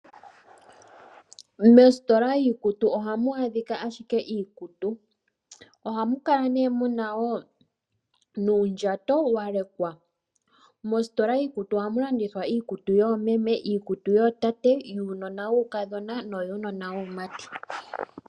Moositola yiikutu ohamu adhika ashike iikutu. Ohamu kala nee muna woo nuundjato walekwa. Mositola yiikutu ohamu landithwa iikutu yoomeme, iikutu yootate, yuunona wuukadhona noyuunona waamati.